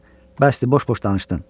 Bəsdir, boş-boş danışdın.